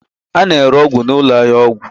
a na-ere ọgwụ na ụlọ ahịa ọgwụ.